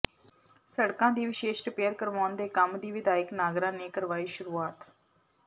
ਸੜਕਾਂ ਦੀ ਵਿਸ਼ੇਸ਼ ਰਿਪੇਅਰ ਕਰਵਾਉਣ ਦੇ ਕੰਮ ਦੀ ਵਿਧਾਇਕ ਨਾਗਰਾ ਨੇ ਕਰਵਾਈ ਸ਼ੁਰੂਆਤ